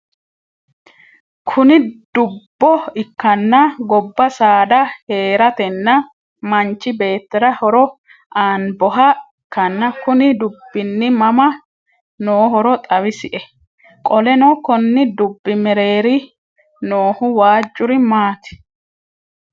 Kuni dubbo ikkana gobba saada heeratenna manchi beettira horo aanboha ikkanna Kuni dubbini mama nohooro xawisie? Qoleno Konni dubbi mereeri noohu waajuri maati?